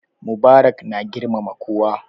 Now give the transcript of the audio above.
Mubarak na girmama kowa.